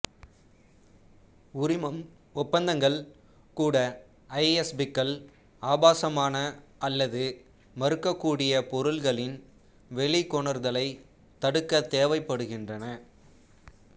உரிமம் ஒப்பந்தங்கள் கூட ஐஎஸ்பிக்கள் ஆபாசமான அல்லது மறுக்கக்கூடிய பொருள்களின் வெளிக்கொணர்தலைத் தடுக்க தேவைப்படுகின்றன